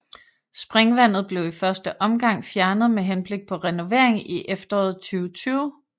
Springvandet blev i første omgang fjernet med henblik på renovering i efteråret 2020